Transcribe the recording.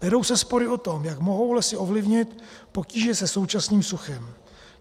Vedou se spory o to, jak mohou lesy ovlivnit potíže se současným suchem.